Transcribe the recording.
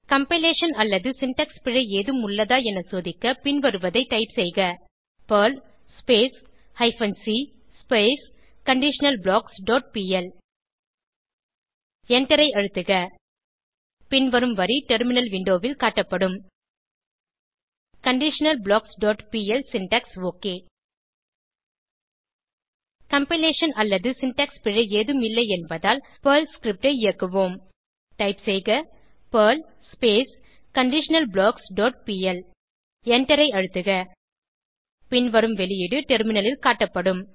compilation அல்லது syntax பிழை ஏதும் உள்ளதா என சோதிக்க பின்வருவதை டைப் செய்க Perl hyphen c conditional blocks dot pl எண்டரை அழுத்துக பின்வரும் வரி டெர்மினல் விண்டோவில் காட்டப்படும் conditionalblocksபிஎல் சின்டாக்ஸ் ஒக் கம்பைலேஷன் அல்லது சின்டாக்ஸ் பிழை ஏதும் இல்லை என்பதால் பெர்ல் ஸ்கிரிப்ட் ஐ இயக்குவோம் டைப் செய்க பெர்ல் கண்டிஷனல்பிளாக்ஸ் டாட் பிஎல் எண்டரை அழுத்துக பின்வரும் வெளியீடு டெர்மினலில் காட்டப்படும்